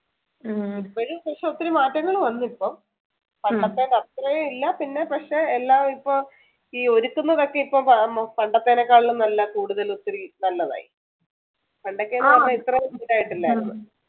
ഇപ്പോഴ് പക്ഷേ ഒത്തിരി മാറ്റങ്ങൾ വന്നു ഇപ്പോൾ പണ്ടത്തെ അത്രയും ഇല്ല പിന്നെ പക്ഷേ എല്ലാ ഇപ്പോൾ ഈ ഒരുക്കുന്നതൊക്കെ ഇപ്പോ പണ്ടത്തേക്കാളും നല്ല കൂടുതൽ ഒത്തിരി നല്ലതായി പണ്ടൊക്കെ ന്നു പറഞ്ഞ ഇത്ര ഇതായിട്ടില്ലായിരുന്നു